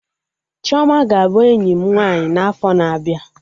Chioma ga-abụ enyi m nwaanyị n'afo na-abịa